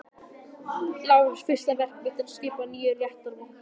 LÁRUS: Fyrsta verk mitt er að skipa nýja réttarvotta.